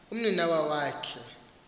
umninawa wak he